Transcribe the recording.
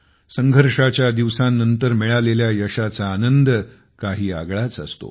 संघर्षाच्या दिवसांनंतर मिळालेल्या यशाचा आनंद काही आगळाच असतो